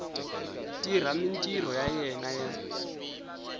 tirha mintirho ya yena ya